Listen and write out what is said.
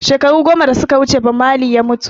Shekaru goma da suka wuce Bob Marley ya mutu